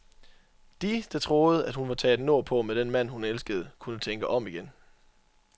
De, der troede, at hun var taget nordpå med den mand, hun elskede, kunne tænke om igen.